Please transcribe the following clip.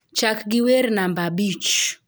Chak gi wer namba abich